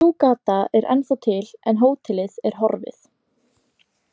Sú gata er ennþá til en hótelið er horfið.